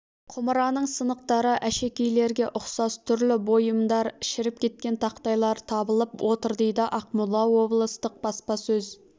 құмараның сынықтары әшекейлерге ұқсас түрлі бұйымдар шіріп кеткен тақтайлар табылып отыр дейді ақмола облыстық баспасөз